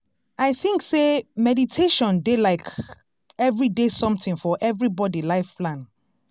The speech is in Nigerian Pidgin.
i think sey make meditation dey like everyday something for everybody life plan.